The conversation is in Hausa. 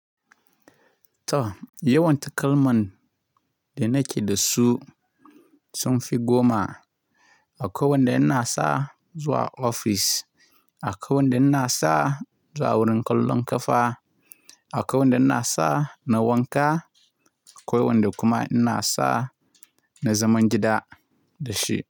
To, yawan takalman da nake da su sun fi goma. Akwai wanda ina sa zuwa ofis, akwai wanda ina sa zuwa wurin kallon ƙafa, akwai wanda ina sa na wanka, akwai wanda kuma ina sa na zaman gida da shi.